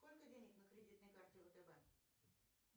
сколько денег на кредитной карте втб